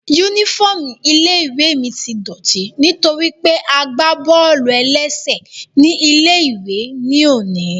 Yúnífọ́ọ̀mù ilé-ìwé mi tí dọ̀ọ̀tí nítorí pé a gbá bọ́ọ̀lù-ẹlẹ́sẹ̀ ní ilé-ìwé ní òní